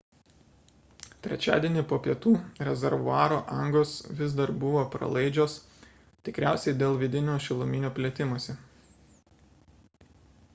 trečiadienį po pietų rezervuaro angos vis dar buvo pralaidžios – tikriausiai dėl vidinio šiluminio plėtimosi